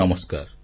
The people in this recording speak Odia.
ନମସ୍କାର